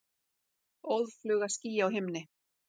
Óðfluga ský á himni.